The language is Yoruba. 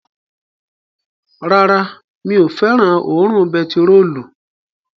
Rárá, mi ò fẹ́ràn òórùn bentiróòlù